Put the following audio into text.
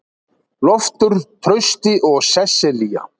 Loftur, Trausti og Sesselía.